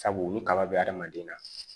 Sabu u ni kaba be adamaden na